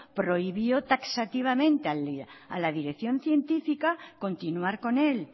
prohibió taxativamente a la dirección científica continuar con él